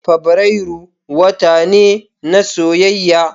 Fabrairu wata ne na soyayya.